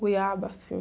Goiaba, sim.